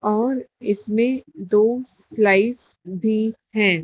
और इसमें दो स्लाइस भी हैं।